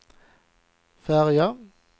färja